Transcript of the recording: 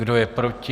Kdo je proti?